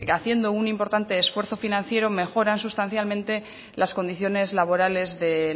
haciendo un importante esfuerzo financiero mejoran sustancialmente las condiciones laborales de